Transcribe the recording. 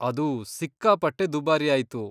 ಅದು ಸಿಕ್ಕಾಪಟ್ಟೆ ದುಬಾರಿ ಆಯ್ತು.